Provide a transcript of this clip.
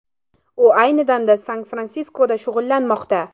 U ayni damda San-Fransiskoda shug‘ullanmoqda.